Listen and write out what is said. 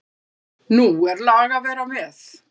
Nú er lag að vera með!